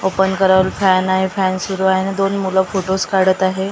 Open करल fan आहे fan सुरू आहे न दोन मुलं फोटोज काढत आहे .